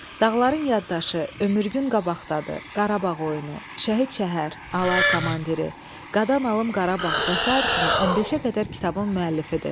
"Dağların yaddaşı", "Ömür gün qabaqdadır", "Qarabağ oyunu", "Şəhid şəhər", "Alay komandiri", "Qadan alım Qarabağ" və sair kimi 15-ə qədər kitabın müəllifidir.